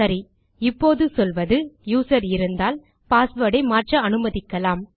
சரி இப்போது சொல்வது யூசர் இருந்தால் பாஸ்வேர்ட் ஐ மாற்ற அனுமதிக்கலாம்